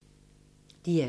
DR2